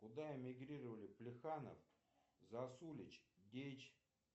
куда эмигрировали плеханов засулич дейч